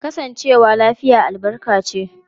Kasancewa lafiya albarka ce.